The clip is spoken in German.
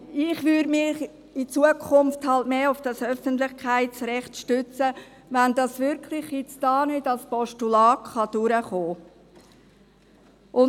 Ich würde mich in Zukunft mehr auf das Öffentlichkeitsrecht stützen, sollte das Postulat hier nicht durchkommen.